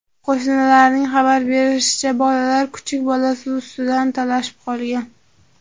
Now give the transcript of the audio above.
Qo‘shnilarning xabar berishicha, bolalar kuchuk bolasi ustidan talashib qolgan.